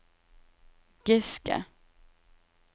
Giske